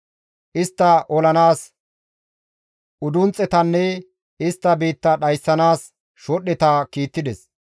Istta olanaas udunxxetanne istta biitta dhayssanaas shodhdheta kiittides.